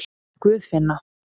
Guðfinna